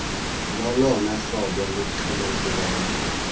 lolona hlobo luqhelekileyo